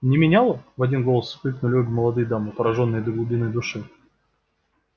не меняла в один голос воскликнули обе молодые дамы поражённые до глубины души